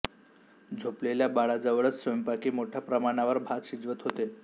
झोपलेल्या बाळाजवळच स्वयंपाकी मोठ्या प्रमाणावर भात शिजवत होते